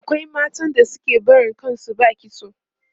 akwai matan da suke barin kan su ba kitso